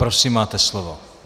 Prosím, máte slovo.